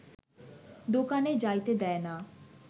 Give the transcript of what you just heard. দোকানে যাইতে দেয় না